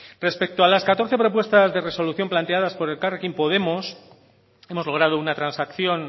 respecto a las catorce propuestas de resolución planteadas por elkarrekin podemos hemos logrado una transacción